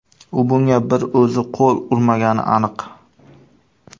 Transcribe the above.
U bunga bir o‘zi qo‘l urmagani aniq.